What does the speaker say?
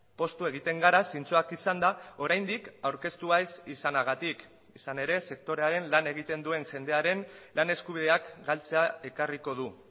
poztu egiten gara zintzoak izanda oraindik aurkeztua ez izanagatik izan ere sektorearen lan egiten duen jendearen lan eskubideak galtzea ekarriko du